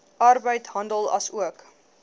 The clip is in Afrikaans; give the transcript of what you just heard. arbeid handel asook